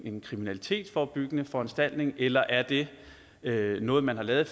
en kriminalitetsforebyggende foranstaltning eller er det noget man har lavet